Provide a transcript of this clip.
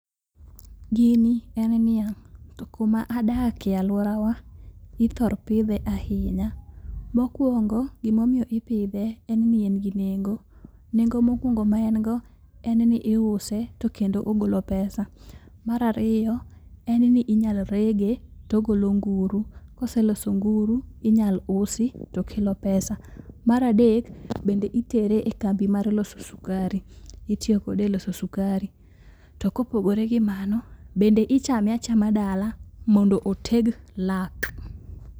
Gini en niang'. To kuma adakie e aluorawa ithor pidhe ahinya. Mokuongo gima omiyo ipidhe en ni en gi nengo. Nengo mokuongo maen go en ni iuse to kendo ogolo pesa. Mar ariyo, en ni inyalo rege togolo nguru. Koseloso nguru, inyal usi tokelo pesa. Mar adek bende itere ekambi mar loso sukari, itiyo kode eloso sukari. Tokopogore gi mano, bende ichame achama dala mondo oteg lak.